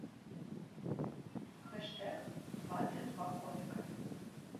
хэштег двадцать два комика